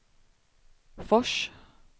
Fors